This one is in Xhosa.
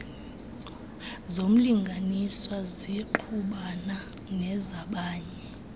zomlinganiswa zingqubana nezabanye